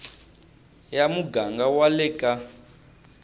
ya muganga wa le ka